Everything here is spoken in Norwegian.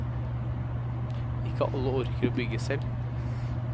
Ikke alle orker å bygge selv.